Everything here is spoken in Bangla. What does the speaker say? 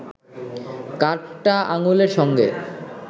কাঠটা আঙুলের সঙ্গে